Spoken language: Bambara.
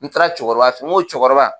N taara cɛkɔrɔba fen, n ko cɛkɔrɔba